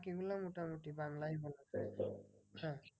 বাকিগুলো মোটামুটি বাংলায় হয়েছে হ্যাঁ